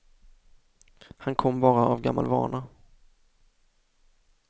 Han kom bara av gammal vana.